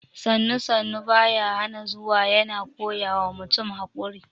“Sannu-Sannu baya hana zuwa” yana koya wa mutum haƙuri